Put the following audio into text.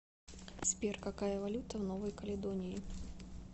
сбер какая валюта в новой каледонии